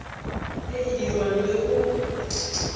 e e dirwang le go